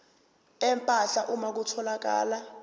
empahla uma kutholakala